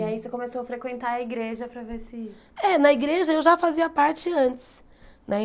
E aí você começou a frequentar a igreja para ver se... É, na igreja eu já fazia parte antes né.